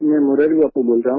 मैं मुरारी बापू बोल रहा हूँ